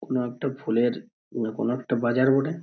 কোনো একটা ফুলের না কোনো একটা বাজার বটে।